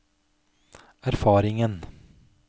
erfaringen